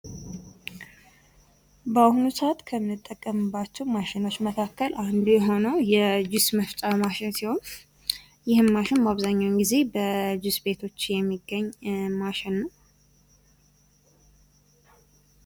በአሁኑ ሰዓት ከምንጠቀምባቸው ማሸኖች መካከል አንዱ የሆነው የጁስ መፍጫ ማሽን ሲሆን ይህም ማሽን በአብዛኛው ጊዜ በጁስ ቤቶች የሚገኝ ማሽን ነው ።